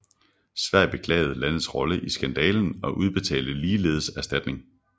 Sverige beklagede landets rolle i skandalen og udbetalte ligeledes erstatning